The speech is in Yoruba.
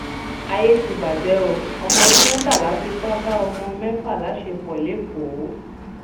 àyè ti bàjẹ o ọmọọdún mẹtàlá fipá bá ọmọọn mẹfà láṣepọ lẹkọọ